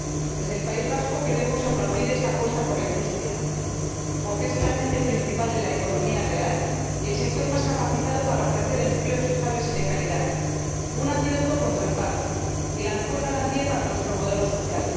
Desde el País Vasco queremos aplaudir esta apuesta por la industria, porque es el agente principal de la economía real y el sector más capacitado para ofrecer empleos estables y de calidad, un antídoto contra el paro y la mejor garantía para nuestro modelo social.